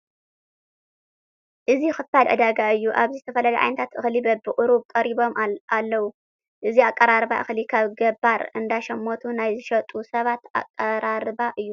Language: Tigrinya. እዚ ክፋል ዕዳጋ እዩ፡፡ ኣብዚ ዝተፈላለየ ዓይነት እኽሊ በብቕሩብ ቀሪቡ ኣሎ፡፡ እዚ ኣቀራርባ እኽሊ ካብ ገባር እንዳሸመቱ ናይ ዝሸጡ ሰባት ኣቀራርባ እዩ፡፡